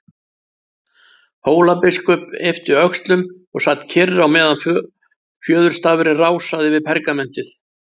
Hólabiskup yppti öxlum og sat kyrr á meðan fjöðurstafurinn rásaði yfir pergamentið.